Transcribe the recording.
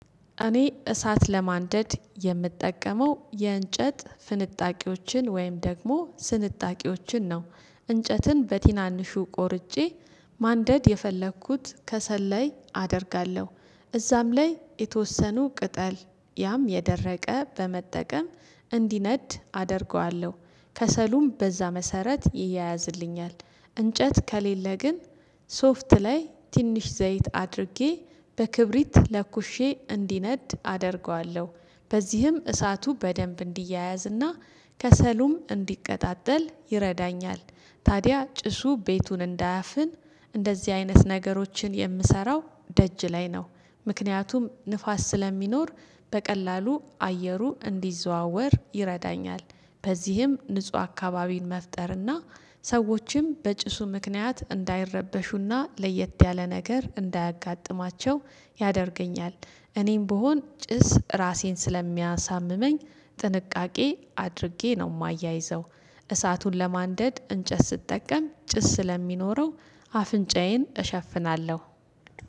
እኔ እሳት ለማንደድ የምጠቀመው የእንጨት ፍንጣቂዎችን ወይም ደግሞ ስንጣቂዎችን ነው። እንጨትን በቲናንሹ ቆርጬ ማንደድ የፈለኩት ከሰል ላይ አደርጋለሁ። እዛም ላይ የተወሰኑ ቅጠል ያም የደረቀ በመጠቀም እንዲነድ አደርገዋለሁ። ከሰሉም በዛ መሰረት ይያያዝልኛል። እንጨት ከሌለ ግን ሶፍት ላይ ትንሽ ዘይት አድርጌ በክብሪት ለኩሼ እንዲነድ አደርገዋለሁ። በዚህም እሳቱ በደንብ እንዲያያዝ እና ከሰሉም እንዲቀጣጠል ይረዳኛል። ታዲያ ጭሱ ቤቱን እንዳያፍን እንደዚህ አይነት ነገሮችን የምሰራው ደጅ ላይ ነው። ምክንያቱም ንፋስ ስለሚኖር በቀላሉ አየሩ እንዲዘዋወር ይረዳኛል። በዚህም ንጹህ አካባቢን መፍጠርና ሰዎችም በጭሱ ምክንያት እንዳይረበሹና ለየት ያለ ነገር እንዳያጋጥማቸው ያደርገኛል እኔም ብሆን ጭስ ራሴን ስለሚያሳምመኝ ጥንቃቄ አድርጌ ነው የማያይዘው። እሳቱን ለማንደድ እንጨት ስትጠቀም ጭስ ስለሚኖረው አፍንጫዬን እሸፍናለሁ።